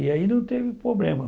E aí não teve problema.